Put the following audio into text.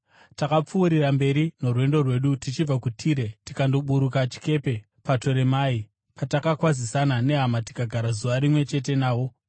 Takapfuurira mberi norwendo rwedu tichibva kuTire tikandoburuka chikepe paToremai, patakakwazisana nehama tikagara zuva rimwe chete navo.